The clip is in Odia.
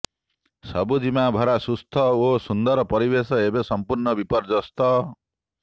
ସବୁଜିମାଭରା ସୁସ୍ଥ ଓ ସୁନ୍ଦର ପରିବେଶ ଏବେ ସଂପୂର୍ଣ୍ଣ ବିପର୍ଯ୍ୟସ୍ତ